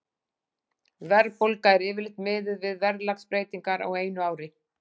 Verðbólga er yfirleitt miðuð við verðlagsbreytingar á einu ári.